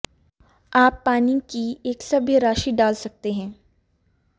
आप पानी की एक सभ्य राशि डाल सकते हैं